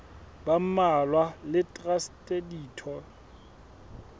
ba mmalwa le traste ditho